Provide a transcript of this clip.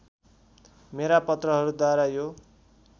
मेरा पत्रहरूद्वारा यो